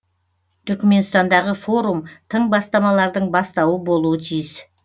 түрікменстандағы форум тың бастамалардың бастауы болуы тиіс